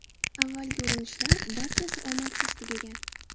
Avvalgi urinishlar barchasi omadsiz tugagan.